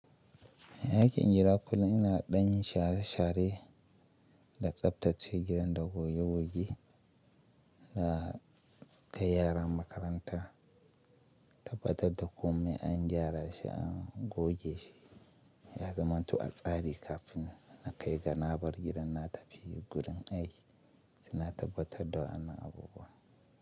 Aikin gida kullum ina ɗan share share da tsaftace gidan da goge goge na ta yaran makaranta, tabbatar da kome an gyara shi, an goge shi, ya zamanto a tsari kafin na kai ganabar gidan na tafi gurin aiki Sina tabbatar da wannan abubuwa.